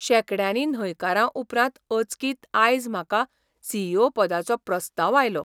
शेंकड्यांनी न्हयकारां उपरांत अचकीत आयज म्हाका सी. ई. ओ पदाचो प्रस्ताव आयलो.